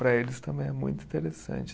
Para eles também é muito interessante.